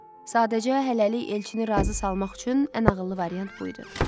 Sadəcə hələlik Elçini razı salmaq üçün ən ağıllı variant bu idi.